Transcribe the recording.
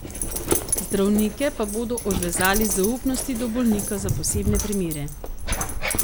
Zdravnike pa bodo odvezali zaupnosti do bolnika za posebne primere.